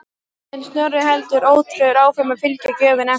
En Snorri heldur ótrauður áfram að fylgja gjöfinni eftir.